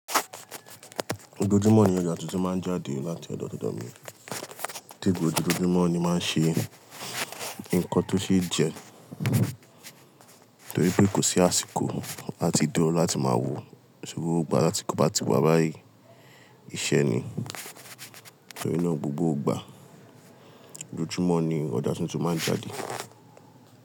Gbogbo ojúmọ́ ni ọjọ́ tuntun máa ń jáde láti ọ̀dọ̀ ọ̀dọ̀ mí, tí gbogbo ojúmọ́ ni máa ń ṣe nǹkan tó ṣe é jẹ torí pé kò sí àsìkò láti dúró láti máa wò, ṣùgbọ́n láti kó bá ti wá bá yí iṣẹ́ ni. Torí náà gbogbo gbà ojúmọ́ ni ọjà tuntun máa ń jáde.